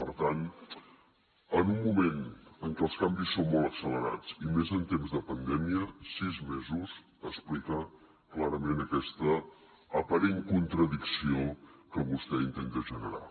per tant en un moment en què els canvis són molt accelerats i més en temps de pandèmia sis mesos explica clarament aquesta aparent contradicció que vostè intenta generar